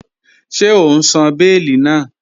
Ṣẹ̀ o n sán owó bèélì náà?